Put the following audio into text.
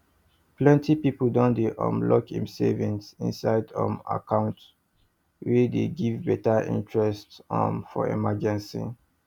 plenty people dey um lock im saving inside um account wey dey give better interest um for emergency